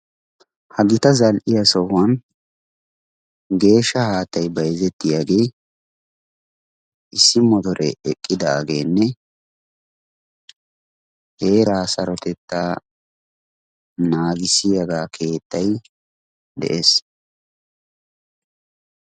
ha gita zal'iya sohuwan geeshsha haattay bayizettiyage issi motore eqqidaageenne heeraa sarotettaa naagissiyaga keettay de'es.